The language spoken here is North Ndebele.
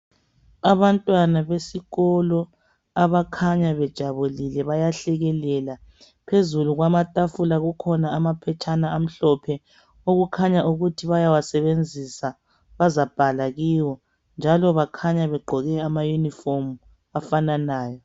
Abantwana besikolo abakhanya bejabulile bayahlekelela. Phezulu kwamatafula kukhona amaphetshana amhlophe okukhanya ukuthi bayawasebenzisa bazabhala kiwo njalo bakhanya begqoke ama uniform afananayo.